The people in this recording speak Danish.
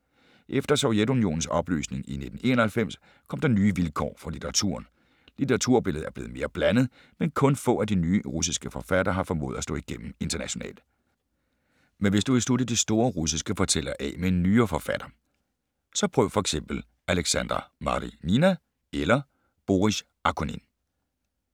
Efter Sovjetunionens opløsning i 1991 kom der nye vilkår for litteraturen. Litteraturbilledet er mere blandet, men kun få af de nye russiske forfattere har formået at slå igennem internationalt. Men hvis du vil slutte de store russiske fortællere af med en nyere forfatter, så prøv f.eks. Alexandra Marinina eller Boris Akunin.